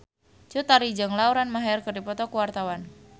Cut Tari jeung Lauren Maher keur dipoto ku wartawan